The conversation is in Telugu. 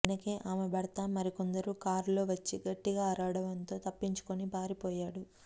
వెనకే ఆమె భర్త మరికొందరు కారులో వచ్చి గట్టిగా అరవడంతో తప్పించుకుని పారి పోయాడు